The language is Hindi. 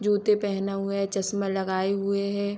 जूते पहना हुआ है चशमाँ लगाए हुए है।